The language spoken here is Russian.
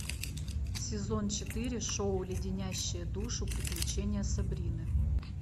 сезон четыре шоу леденящие душу приключения сабрины